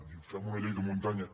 diu fem una llei de muntanya